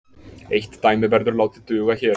Eitt dæmi verður látið duga hér.